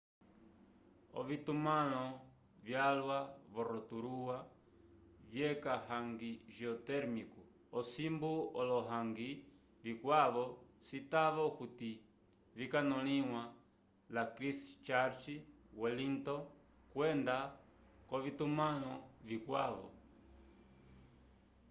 ovitumãlo vyalwa vo rotorua vyeca hangi geotérmico osimbu olo hangi vikwavo citava okuti vikanõliwa la christchurch wellington kwenda k'ovitumãlo vikwavo